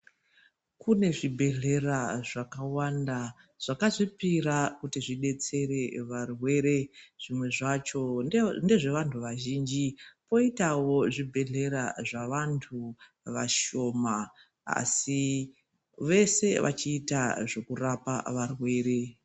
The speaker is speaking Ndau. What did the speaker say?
Kune zvibhedhlera zvakawanda zvakazvipira kuti zvidetsere varwere. Zvimwe zvacho ndezvevantu vazhinji, koitawo zvibhedhlera zvavantu vashoma asi vese vachiita zvekurapa varwere.